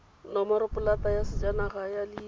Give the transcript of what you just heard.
nomoropolata ya sejanaga ya leina